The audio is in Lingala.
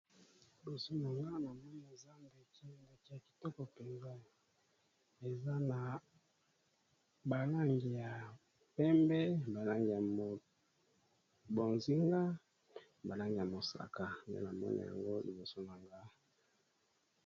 Liboso nanga namoni eza ndeke, ndeke ya kitoko mpenza eza na ba langi ya pembe, ba langi ya bozinga, ba langi ya mosaka, nde na moni yango liboso na nga.